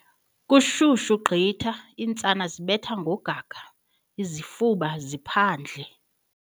Kushushu gqitha iintsana zibetha ngogaga, izifuba ziphandle.